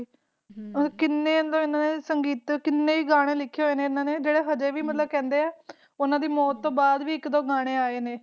ਹਨ ਨੇ ਕਿਨੈ ਹੈ ਗਾਣੇ ਲਿਖੇ ਨੇ ਜੋ ਕਿ ਹਨ ਦੀ ਮੌਟ ਤੋਂ ਬਾਦ ਇਕ -ਦੋ ਵੀ ਆਈ ਨੇ